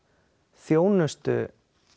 þjónustu